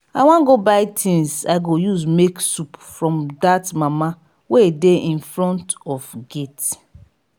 i wan go buy things i go use make soup from dat mama wey dey in front of gate.